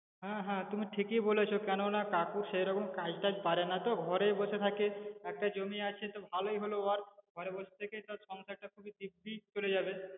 হ্যাঁ হ্যাঁ তুমি ঠিকই বলেছ কেননা কাকু সেরকম কাজ তাজ পারেনা তো ঘরেই বসে থাকে একটা জমি আছে তো ভালোই হলো বল ঘরেই বসে থেকে সংসারটা দিব্যি চলে যাবে